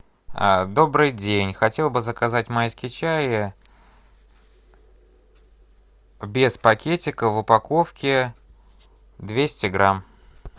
добрый день хотел бы заказать майский чай без пакетиков в упаковке двести грамм